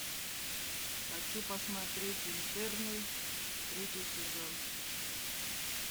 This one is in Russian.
хочу посмотреть интерны третий сезон